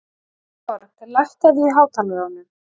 Valborg, lækkaðu í hátalaranum.